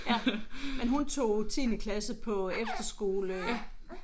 Ja men hun tog 10. klasse på efterskole